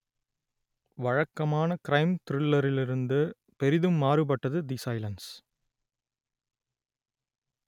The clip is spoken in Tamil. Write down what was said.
வழக்கமான க்ரைம் த்ரில்லரிலிருந்து பெரிதும் மாறுபட்டது தி சைலன்ஸ்